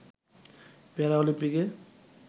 প্যারা অলিম্পিকে